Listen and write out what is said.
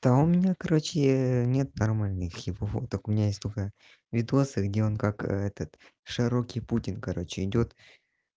да у меня короче нет нормальных его фоток у меня есть только видео где он как этот широкий путин короче идёт